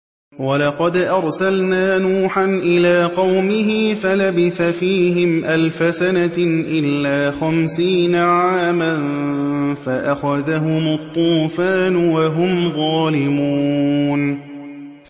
وَلَقَدْ أَرْسَلْنَا نُوحًا إِلَىٰ قَوْمِهِ فَلَبِثَ فِيهِمْ أَلْفَ سَنَةٍ إِلَّا خَمْسِينَ عَامًا فَأَخَذَهُمُ الطُّوفَانُ وَهُمْ ظَالِمُونَ